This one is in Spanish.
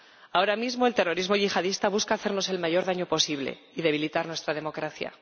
Ahora mismo, el terrorismo yihadista busca hacernos el mayor daño posible y debilitar nuestra democracia.